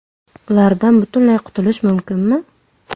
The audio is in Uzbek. Ulardan butunlay qutulish mumkinmi?.